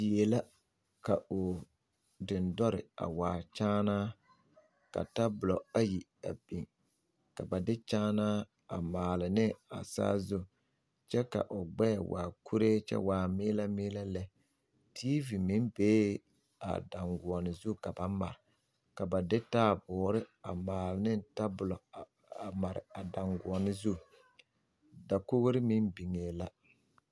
Die la ka o dendɔre a waa kyaanaa ka tabolo ayi ka ba de kyaanaa maale ne a saazu kyɛ ka o gbɛɛ waa kuree kyɛ waa meelɛ meelɛ lɛ tiivi meŋ bee a daŋgoɔne zu ka ba mare ka ba de taaboore a maale tabolo a mare a daŋgoɔne zu dakogri meŋ bigee la.